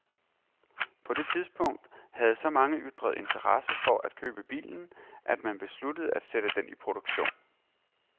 På det tidspunkt havde så mange ytret interesse for at købe bilen, at man besluttede at sætte den i produktion.